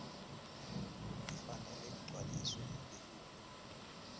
ifanele igcwaliswe lilunga